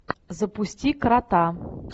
запусти крота